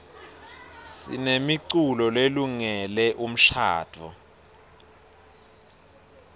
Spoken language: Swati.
sinemiculo lelungele umshadvo